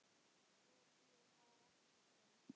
Hún var ekkert greind.